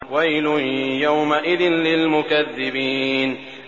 وَيْلٌ يَوْمَئِذٍ لِّلْمُكَذِّبِينَ